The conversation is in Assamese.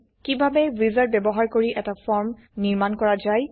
কিভাবে উইজাৰ্ড ব্যবহাৰ কৰি এটা ফৰ্ম নিৰ্মাণ কৰা যায়